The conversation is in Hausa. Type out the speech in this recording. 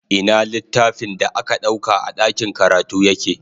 Ina littafin da ka ɗauka a ɗakin karatu yake?